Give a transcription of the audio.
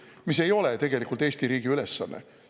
Aga see ei ole tegelikult Eesti riigi ülesanne.